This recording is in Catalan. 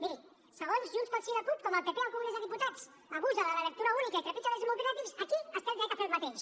miri segons junts pel sí i la cup com el pp al congrés dels diputats abusa de la lectura única i trepitja drets democràtics aquí es té el dret a fer el mateix